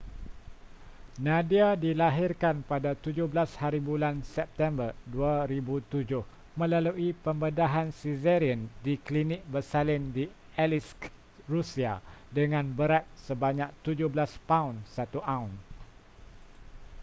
nadia dilahirkan pada 17hb september 2007 melalui pembedahan caesarean di klinik bersalin di aleisk rusia dengan berat sebanyak 17 paun 1 auns